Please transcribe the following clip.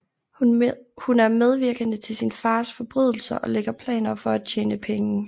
Hun er medvirkende til sin fars forbrydelser og lægger planer for at tjene penge